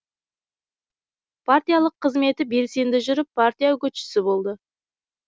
партиялық қызметі белсенді жүріп партия үгітшісі болды